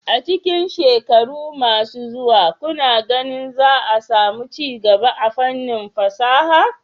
A cikin shekaru masu zuwa, kuna ganin za a samu ci gaba a fannin fasaha?